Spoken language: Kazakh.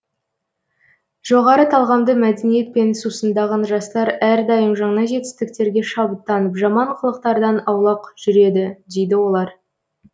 жоғары талғамды мәдениетпен сусындаған жастар әрдайым жаңа жетістіктерге шабыттанып жаман қылықтардан аулақ жүреді дейді олар